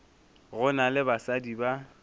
go na le basadi ba